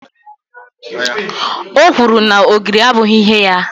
o kwuru na ogiri abụghị ihe ya